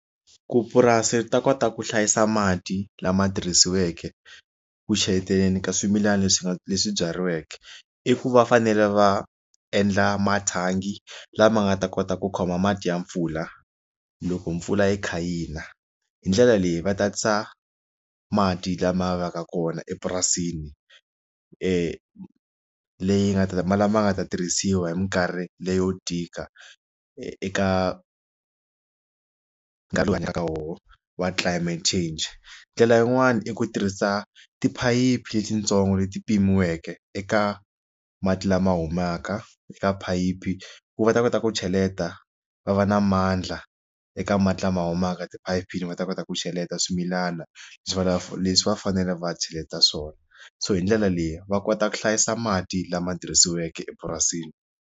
Ku purasi ri ta kota ku hlayisa mati lama tirhisiweke ku chayeteleni ka swimilana leswi nga leswi byariweke i ku va fanele va endla mathangi lama nga ta kota ku khoma mati ya mpfula loko mpfula yi kha hina hindlela leyi va tatisa mati lama yaka kona epurasini leyi nga ta ma lama nga ta tirhisiwa hi minkarhi leyo tika eka nkarhi lowu hanyaka eka wona wa climate change ndlela yin'wana i ku tirhisa tiphayiphi letitsongo leti pimiweke eka mati lama humaka eka phayiphi ku va ta kota ku cheleta va va na mandla eka mati lama humaka ti paypal va ta kota ku cheleta swimilana leswi vulaku leswi va fanele va cheleta swona so hi ndlela leyi va kota ku hlayisa mati lama tirhisiweke epurasini.